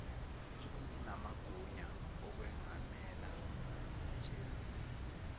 unamagunya okwengamela nokujezisa